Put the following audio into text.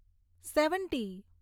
seventy